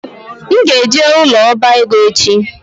M ga-eje ụlọ ọbaego echi